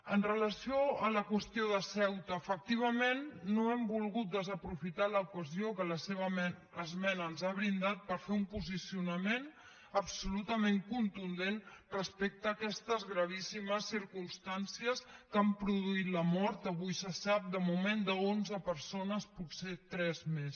amb relació a la qüestió de ceuta efectivament no hem volgut desaprofitar l’ocasió que la seva esmena ens ha brindat per fer un posicionament absolutament contundent respecte a aquestes gravíssimes circumstàncies que han produït la mort avui se sap de moment d’onze persones potser tres més